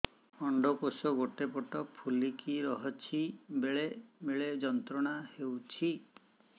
ଅଣ୍ଡକୋଷ ଗୋଟେ ପଟ ଫୁଲିକି ରହଛି ବେଳେ ବେଳେ ଯନ୍ତ୍ରଣା ହେଉଛି